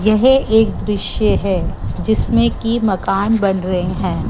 यह एक दृश्य है जिसमें की मकान बन रहे हैं।